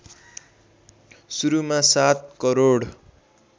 सुरुमा ७ करोड